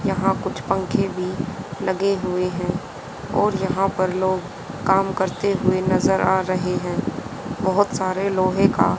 यहां कुछ पंखे भी लगे हुए हैं और यहां पर लोग काम करते हुए नजर आ रहे हैं बहोत सारे लोहे का--